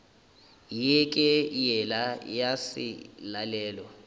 ye ke yela ya selalelo